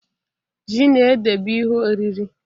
Ji na ede bụ ihe oriri.